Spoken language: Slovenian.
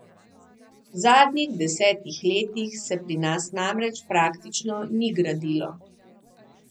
V zadnjih desetih letih se pri nas namreč praktično ni gradilo.